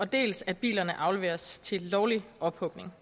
dels at bilerne afleveres til lovlig ophugning